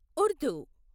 Urdu